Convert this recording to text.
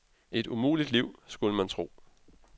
Et umuligt liv, skulle man tro.